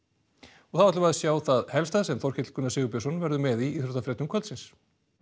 og þá skulum við sjá það helsta sem Þorkell Gunnar Sigurbjörnsson verður með í íþróttafréttum kvöldsins